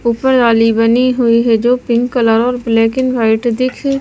ऊपर वाली बनी हुई है जो पिंक कलर और ब्लैक एंड वाइट दिख--